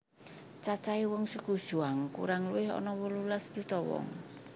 Cacahe wong suku Zhuang kurang luwih ana wolulas yuta wong